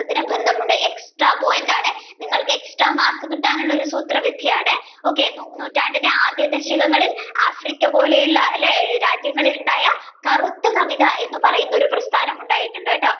ബന്ധമുണ്ട് extra point ആണേ നിങ്ങൾക്ക് extra mark കിട്ടാനുള്ള സൂത്ര വിദ്യയാണ് okay നൂറ്റാണ്ടിലെ ആദ്യ ദശകങ്ങളിൽ Africa പോലെയുള്ള രാജ്യങ്ങളിൽ ഉണ്ടായ കറുത്ത സവിധായം എന്ന് പറഞ്ഞ ഒരു പ്രസ്ഥാനം ഉണ്ടായിട്ടുണ്ട്